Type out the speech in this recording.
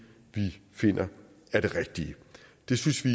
vi finder er det rigtige det synes vi